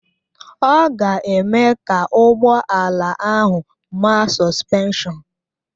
Ọ ga-eme ka ụgbọ ala ahụ maa sọspenshọn